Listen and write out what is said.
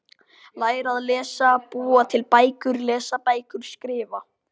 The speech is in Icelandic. Læra að lesa- búa til bækur- lesa bækur- skrifa